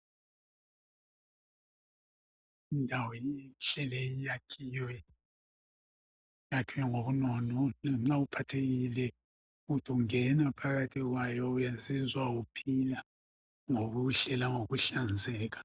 Indawo inhle iyakhiwe ngobunono nxa uphathekile uthi ungena phakathi kwayo uyazizwa uphila ngobuhle langokuhlanzeka.